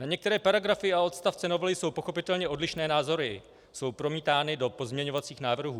Na některé paragrafy a odstavce novely jsou pochopitelně odlišné názory, jsou promítány do pozměňovacích návrhů.